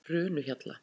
Trönuhjalla